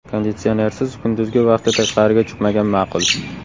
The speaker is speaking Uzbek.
Konditsionersiz kunduzgi vaqtda tashqariga chiqmagan ma’qul.